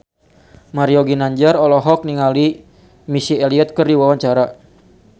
Mario Ginanjar olohok ningali Missy Elliott keur diwawancara